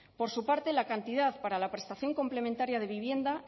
por su parte la cantidad para la prestación complementaria de vivienda